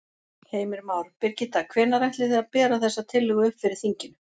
Heimir Már: Birgitta, hvenær ætlið þið að bera þessa tillögu upp fyrir þinginu?